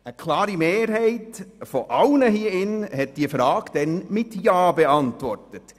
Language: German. » Eine deutliche Mehrheit aller, die heute hier sitzen, hat diese Frage mit ja beantwortet.